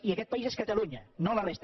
i aquest país és catalunya no la resta